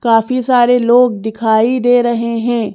काफी सारे लोग दिखाई दे रहे हैं।